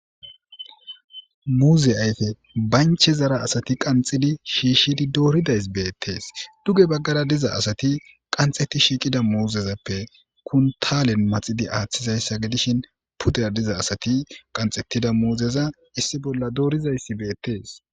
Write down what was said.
Muze ayiffe banichchezara asati qanixxidi shishid doridayis betees duge bagara diza asati qanxeti shiqida muzezappe kunitalenni maxidi aththizayiss gidishshin pudezara diza asati qanixetida muzeza issi bolla dorizayiss betees.